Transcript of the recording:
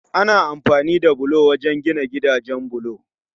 Ana amfani da bulo wajen gina gidajen bulo